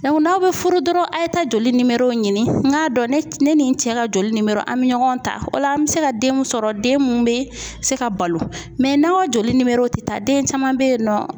n'aw bɛ furu dɔrɔn a ye taa joli ɲini n k'a dɔn ne ni n cɛ ka joli an bɛ ɲɔgɔn ta, o la an bɛ se ka den mun sɔrɔ den mun bɛ se ka balo n'aw joli tɛ taa den caman bɛ yen nɔ